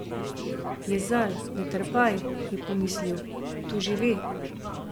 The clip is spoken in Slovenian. Jezal, ne trapaj, je pomislil, to že ve.